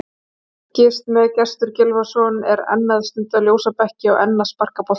Fylgist með: Gestur Gylfason er enn að stunda ljósabekki og enn að sparka í bolta.